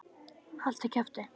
Haltu kjafti!